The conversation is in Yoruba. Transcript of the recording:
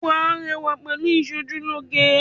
Wàá rẹwà pẹ̀lú ìsojúlóge